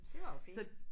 Det var jo fint